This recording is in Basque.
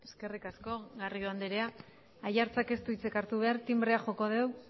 eskerrik asko garrido andrea aiartzak ez du hitzik hartu behar tinbrea joko al dugu